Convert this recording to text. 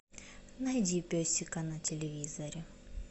найди песика на телевизоре